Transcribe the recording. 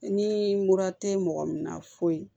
Ni mura tɛ mɔgɔ min na foyi